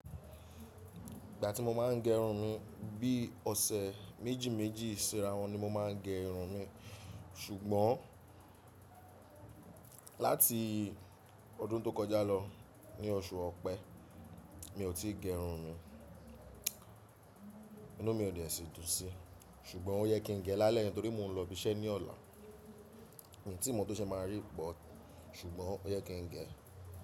Ìgbà tí mo máa ń gẹ irun mi, bí ọ̀sẹ̀ méjì méjì ṣira wọn ni mo máa ń gẹ irun mi. Ṣùgbọ́n láti ọdún tó kọjá lọ, ní oṣù Ọ̀pẹ, mi ò tí ì gẹ irun mi. Inú mi ò dẹsii dún sí, ṣùgbọ́n ó yẹ kí n gẹ lálẹ́ yìí torí mo ń lọ ibi iṣẹ́ ní ọ̀la. Mi ò tí ì mọ̀ tó ṣe máa rí but, ṣùgbọ́n ó yẹ kí n gẹ.